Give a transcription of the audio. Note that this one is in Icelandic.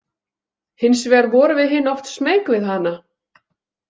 Hins vegar vorum við hin oft smeyk við hana.